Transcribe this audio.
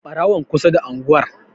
Ɓarawon kusa da unguwar.